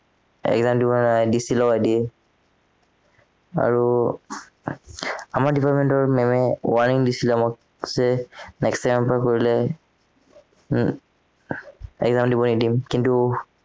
Exam দিব নোৱাৰে DC লগাই দিয়ে আৰু আমাৰ department ৰ ma'am এ warning দিছিলে মোক যে next time ৰ পৰা কৰিলে exam দিব নিদিম কিন্তু